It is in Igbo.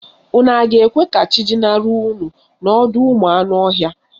Unu a ga-eche ka chi jinarị unu n'ọdọụmụanụọhịa?